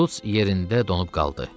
Şults yerində donub qaldı.